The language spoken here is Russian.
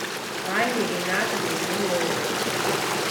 анне ринатовне беловой